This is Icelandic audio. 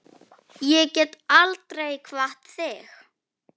Ég get aldrei kvatt þig.